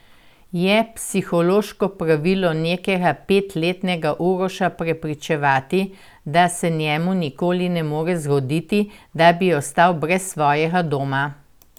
Je psihološko pravilno nekega petletnega Uroša prepričevati, da se njemu nikoli ne more zgoditi, da bi ostal brez svojega doma?